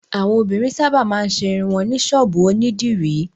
Àwọn obìnrin sábà máa ń ṣe irun wọn ní ṣọ́ọ́bù onídìrí.